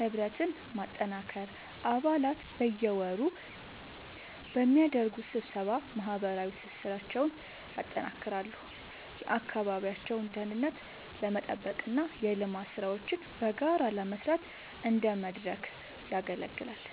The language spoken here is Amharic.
ህብረትን ማጠናከር፦ አባላት በየወሩ በሚያደርጉት ስብሰባ ማህበራዊ ትስስራቸውን ያጠናክራሉ፤ የአካባቢውን ደህንነት ለመጠበቅና የልማት ሥራዎችን በጋራ ለመስራት እንደ መድረክ ያገለግላል።